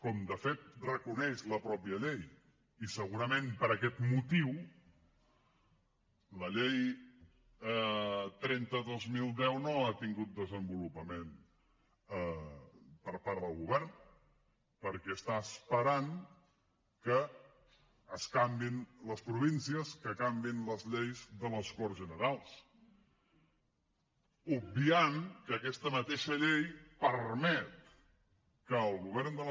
com de fet reconeix la mateixa llei i segurament per aquest motiu la llei trenta dos mil deu no ha tingut desenvolupament per part del govern perquè està esperant que es canviïn les províncies que canviïn les lleis de les corts generals obviant que aquesta mateixa llei permet que el govern de la